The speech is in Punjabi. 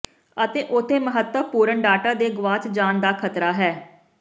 ਅਤੇ ਉਥੇ ਮਹੱਤਵਪੂਰਨ ਡਾਟਾ ਦੇ ਗਵਾਚ ਜਾਣ ਦਾ ਖਤਰਾ ਹੈ